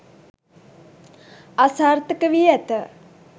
අසාර්ථකවී ඇත.